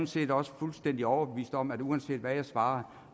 set også fuldstændig overbevist om at uanset hvad jeg svarer